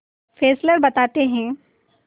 Fessler बताते हैं